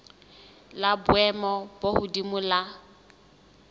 la boemo bo hodimo la